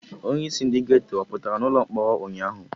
Onyeisi ndị geto ọ pụtara n'ụlọ mkpọrọ ụnyaahụ?